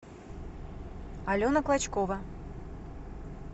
алена клочкова